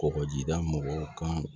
Kɔkɔjida mɔgɔw kan